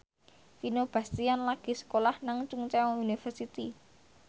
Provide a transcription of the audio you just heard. Vino Bastian lagi sekolah nang Chungceong University